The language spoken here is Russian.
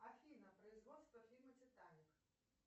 афина производство фильма титаник